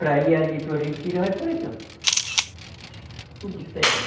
Para ir ali para o Retiro, vai por aqui, ó. Tudo terra.